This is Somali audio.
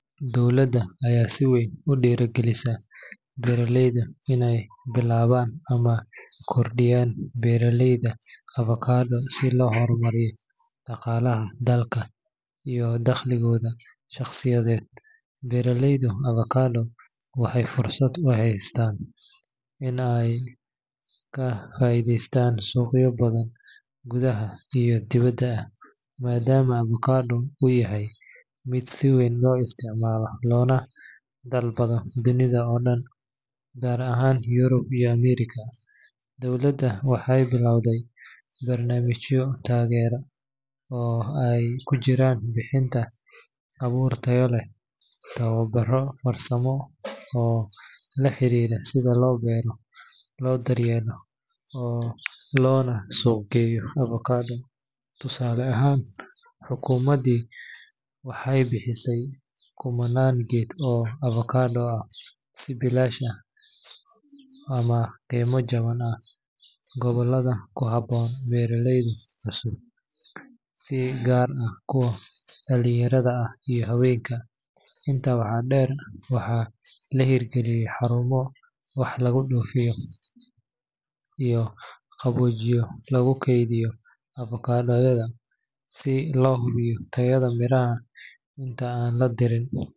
Dowladda ayaa si weyn u dhiirrigelineysa beeraleyda inay bilaabaan ama kordhiyaan beeraleyda avokado si loo horumariyo dhaqaalaha dalka iyo dakhligooda shaqsiyadeed. Beeraleyda avokado waxay fursad u haystaan inay ka faa’iideystaan suuqyo gudaha iyo dibadda ah, maadaama avokado uu yahay mid si weyn loo isticmaalo loona dalbado dunida oo dhan, gaar ahaan Yurub iyo Ameerika. Dowladda waxay bilaawday barnaamijyo taageero ah oo ay ku jirto bixinta abuur tayo leh, tababarro farsamo oo la xiriira sida loo beero, loo daryeelo, loona suuq geeyo avokado. Tusaale ahaan, xukuumaddu waxay bixisay kumanaan geed oo avokado ah si bilaash ah ama qiimo jaban ah gobollada ku habboon beeraleyda cusub, si gaar ah kuwa dhallinyarada ah iyo haweenka. Intaa waxaa dheer, waxaa la hirgeliyay xarumo wax laga dhoofiyo iyo qaboojiye lagu keydiyo avokadada, si loo hubiyo tayada miraha inta aan la dirin.